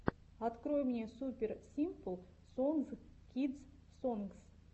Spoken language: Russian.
открой мне супер симпл сонгс кидс сонгс